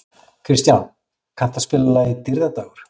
Kristján, kanntu að spila lagið „Dýrðardagur“?